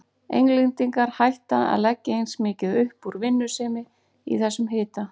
Englendingar hætta að leggja eins mikið upp úr vinnusemi í þessum hita.